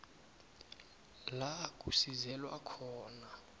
la kusizelwa khona